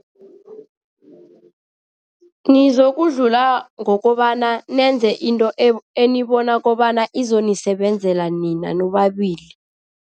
Nizokudlula ngokobana nenze into enibona kobana izonisebenzela nina nobabili.